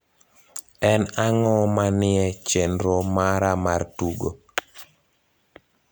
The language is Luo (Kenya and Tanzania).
en ang`o manie chenro mara mar tugo